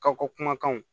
Ka ko kumakanw